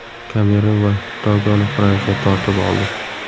Kamerun va Togoni Fransiya tortib oldi.